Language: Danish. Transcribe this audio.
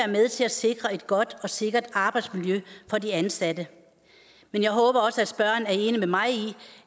med til at sikre et godt og sikkert arbejdsmiljø for de ansatte men jeg håber også at spørgeren er enig med mig i